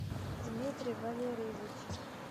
дмитрий валерьевич